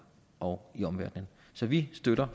og i omverdenen så vi støtter